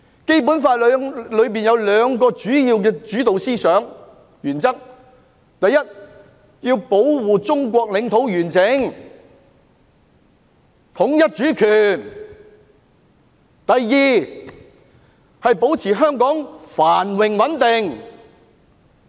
《基本法》中有兩個主要的主導思想和原則：第一，要保護中國領土完整，統一主權；以及第二，保持香港繁榮穩定。